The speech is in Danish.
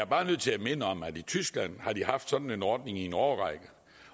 bare nødt til at minde om at i tyskland har de haft sådan en ordning i en årrække